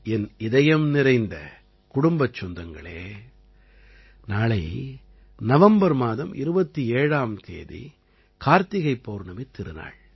என் இதயம் நிறைந்த குடும்பச் சொந்தங்களே நாளை நவம்பர் மாதம் 27ஆம் தேதி கார்த்திகைப் பௌர்ணமித் திருநாள்